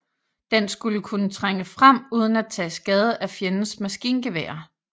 Den skulle kunne trænge frem uden at tage skade af fjendens maskingeværer